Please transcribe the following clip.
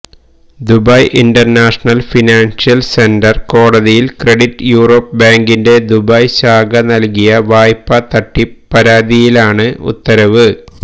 Dubai international financial centre കോടതിയില് credit Europe ബാങ്കിന്റെ Dubai ശാഖ നല്കിയ വായ്പാ തട്ടിപ്പ് പരാതിയിലാണ് ഉത്തരവ്